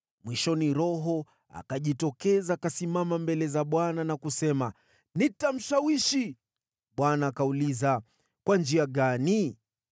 Mwishoni, roho akajitokeza, akasimama mbele za Bwana na kusema, ‘Nitamshawishi.’ “ Bwana akauliza, ‘Kwa njia gani?’